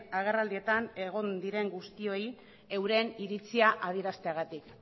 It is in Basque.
agerraldietan egon diren guztioi euren iritzia adierazteagatik